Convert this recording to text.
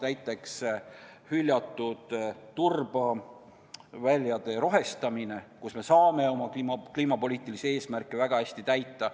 Näiteks hüljatud turbaväljade rohestamine, millega me saame oma kliimapoliitilisi eesmärke väga hästi täita.